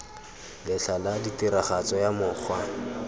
letlha la tiragatso ya mokgwa